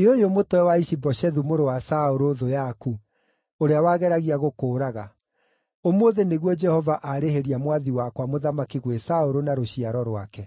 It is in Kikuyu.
“Ĩ ũyũ mũtwe wa Ishi-Boshethu mũrũ wa Saũlũ, thũ yaku, ũrĩa wageragia gũkũũraga. Ũmũthĩ nĩguo Jehova arĩhĩria mwathi wakwa mũthamaki gwĩ Saũlũ na rũciaro rwake.”